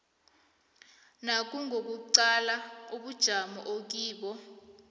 nangokuqala ubujamo okibo